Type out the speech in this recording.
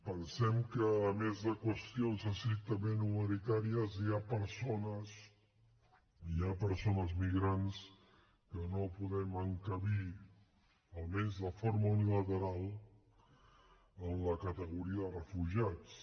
pensem que a més de qüestions estrictament humanitàries hi ha persones migrants que no podem encabir almenys de forma unilateral en la categoria de refugiats